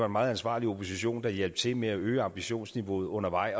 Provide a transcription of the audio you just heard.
meget ansvarlig opposition der hjalp til med at øge ambitionsniveauet undervejs